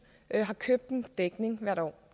har købt en dækning hvert år